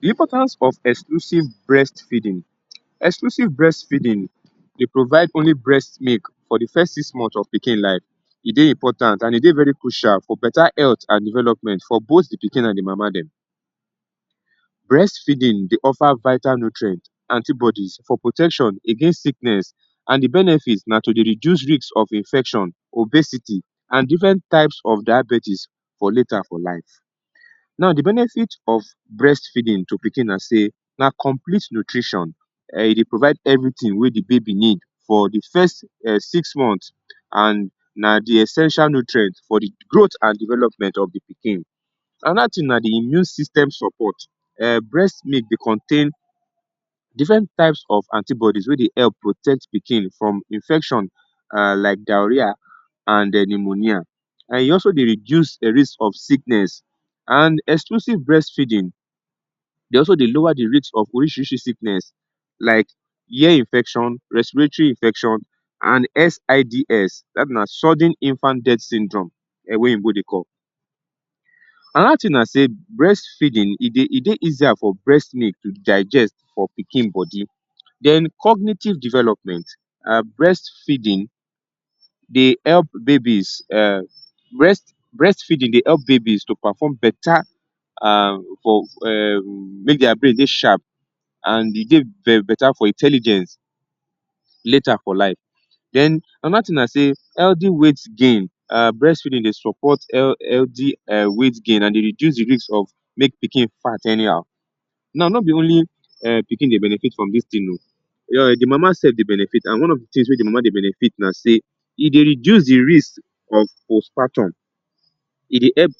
The importance of exclusive breastfeeding. Exclusive breastfeeding dey provide only breast milk for the first six month of pikin life. E dey important an e dey very crucial for beta health an development for both the pikin an the mama dem. Breastfeeding dey offer vital nutrient, antibodies for protection against sickness and the benefit na to dey reduce risk of infection, obesity and different types of diabetes for later for life. Now the benefit of breastfeeding to pikin na sey na complete nutrition um e dey provide everything wey the baby need for the first um six months. And na the essential nutrient for the growth and development of the pikin. Another tin na the immune system support. um Breast milk dey contain different types of antibodies wey dey help protect pikin from infection um like diarrhoea, and um pneumonia. And e also dey reduce the risk of sickness. And exclusive breastfeeding dey also dey lower the rate of orisirisi sickness like ear infection, respiratory infection, an SIDS dat be na Sudden Infant Death Syndrome um wey oyinbo dey call. Another tin na sey breastfeeding e dey e dey easier for breastmilk to digest for pikin body. Then cognitive development. um Breastfeeding dey help babies um breast breastfeeding dey help babies to perform beta um for um make dia brain dey sharp, and e dey beta for intelligence later for life. Another thing a sey Healthy um weight gain. um Breastfeeding dey support healthy um weight gain, an dey reduce the use of make pikin fat anyhow. Now, no be only um pikin dey benefit from dis tin oh. um the mama sef dey benefit an one of the tins wey the mama de benefit na sey e dey reduce the risk of post-partum. E dey help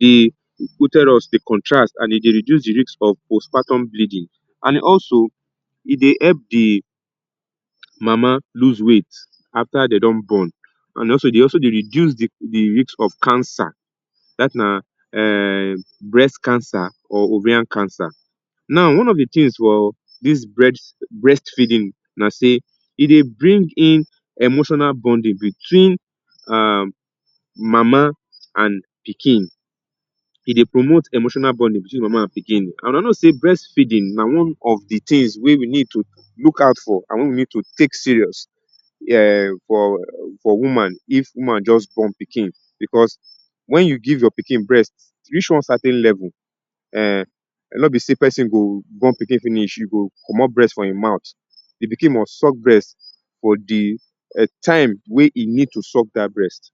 the uterus dey contrast an e dey reduce the risk of post-partum bleeding. And also, e dey help the mama lose weight after de don born. An also e dey also dey reduce the risk of cancer. Dat na um breast cancer or ovarian cancer. Now, one of the tins for dis breastfeeding na sey e dey bring in emotional bonding between um mama and pikin. E dey promote emotional bonding between mama and pikin. And una know sey breast na one of the tins wey we need to look out for an wey we need to take serious um for for woman if woman juz born pikin becos wen you give your pikin breast reach one certain level, um no be sey peson go born pikin finish, you go comot breast for ein mouth. The pikin must suck breast for the um time wey ein need to suck dat breast.